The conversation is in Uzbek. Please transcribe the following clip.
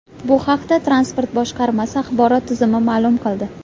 Bu haqda Transport boshqarmasi axborot xizmati ma’lum qildi .